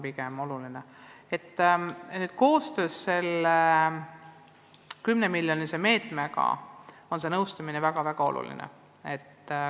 Selle 10-miljonilise meetme raames tehtava koostööna on see nõustamine väga-väga oluline.